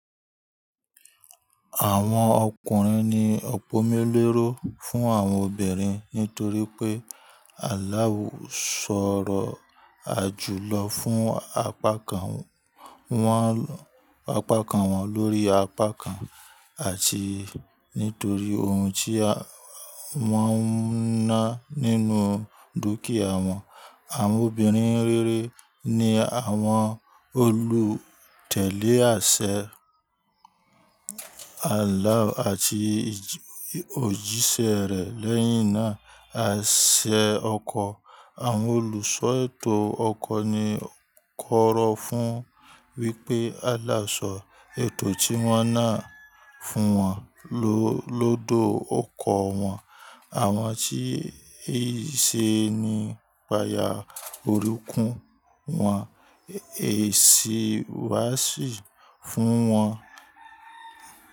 Àwọn ọkùnrin ni opomuléròó fún àwọn obìnrin nítorí pé àláù sọ̀rọ̀ àjùlọ fún apákan wọn, apákan wọn lórí apákan àti nítorí ohun tí wọ́n ń ná nínú dúkìá wọn. Àwọn obìnrin rere ni àwọn olùtẹ̀lé àsè àláù àti òjíṣẹ́ rẹ̀ lẹ́yìn náà. Àṣẹ ọkọ̀, àwọn olùṣọ́ ètò ọkọ̀ ni ó kọ̀rọ̀ fún wípé àláu ṣọ ètò tí wọ́n ná fún wọn lóòdò ọkọ̀ wọn. Àwọn tí ì ṣe ni pá yá orukún wọn èsì wá sì fún wọn.